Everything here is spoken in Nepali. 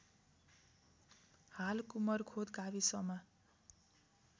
हाल कुमरखोद गाविसमा